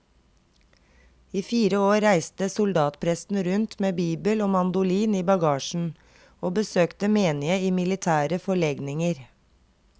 I fire år reiste soldatpresten rundt med bibel og mandolin i bagasjen og besøkte menige i militære forlegninger.